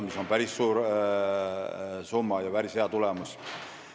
See on päris suur summa ja hea tulemus.